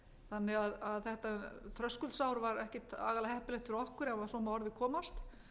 þannig að þetta þröskuldsár var ekkert aðallega heppilegt fyrir okkur ef svo má að orði komast